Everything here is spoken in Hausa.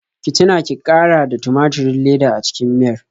Ki tuna ki ƙara da tumaturin leda a cikin miyar.